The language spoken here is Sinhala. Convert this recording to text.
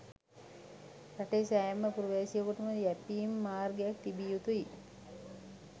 රටේ සෑම පුරවැසියෙකුටම යැපීම් මාර්ගයක් තිබිය යුතුය.